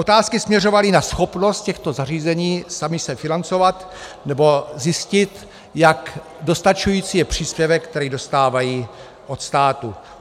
Otázky směřovaly na schopnost těchto zařízení sama se financovat, nebo zjištění, jak dostačující je příspěvek, který dostávají od státu.